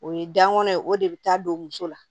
O ye gan kɔnɔ ye o de bɛ taa don muso la